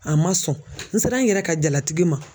A ma sɔn n sera n yɛrɛ ka jalatigi ma